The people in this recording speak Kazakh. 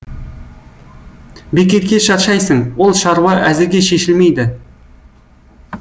бекерге шаршайсың ол шаруа әзірге шешілмейді